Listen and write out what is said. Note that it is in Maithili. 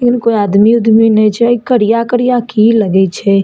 इ मे कोय आदमी उदमी नै छै करिया-करिया की लगे छै ।